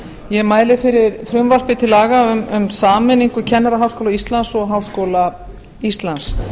ég mæli fyrir frumvarpi til laga um sameiningu kennaraháskóla íslands og háskóla íslands